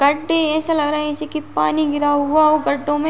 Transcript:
गडे एसा लग रहा है जैसे की पानी गिरा हो गढ़ो में --